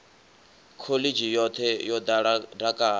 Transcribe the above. khoḽidzhi yoṱhe yo ḓala dakalo